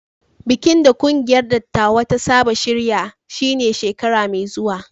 Bikin da kungiyar dattawa ta saba shirya shi ne shekara mai zuwa